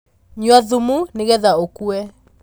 Nyua thumu nĩgetha ũkue.